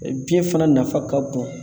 biyɛn fana nafa ka bon